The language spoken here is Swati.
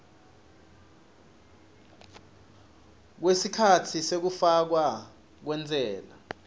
kwesikhatsi sekufakwa kwentsela